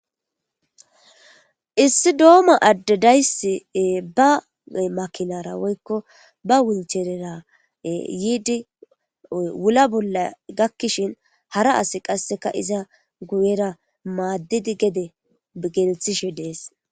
Issi dooma addedayssi ba makinara woykko ba wincherera yiidi wula bolla gakkishin hara asi qasseka iza guyera maaddidi gede gelthishe dees.